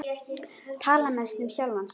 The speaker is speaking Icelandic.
Tala mest um sjálfan sig.